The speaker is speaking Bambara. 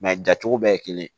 jacogo bɛɛ ye kelen ye